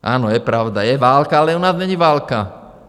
Ano, je pravda, je válka, ale u nás není válka.